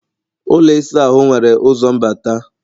ụlọ ịsa ahụ nwere ụzọ mbata